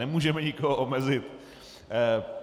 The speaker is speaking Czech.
Nemůžeme nikoho omezit.